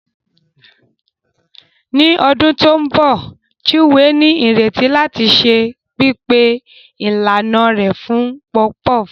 Ní ọdún tó ń bọ̀, Chinwe ní ìrètí láti ṣe pípé ìlànà rẹ̀ fún puff puff.